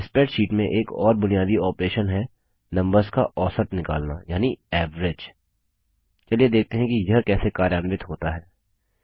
spreadsheet में एक और बुनियादी ऑपरेशन है नम्बर्स का औसत निकलना यानि एवरेज चलिए देखते हैं कि यह कैसे कार्यान्वित होता हैं